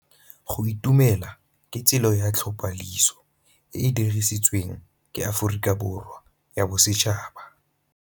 Go itumela ke tsela ya tlhapolisô e e dirisitsweng ke Aforika Borwa ya Bosetšhaba.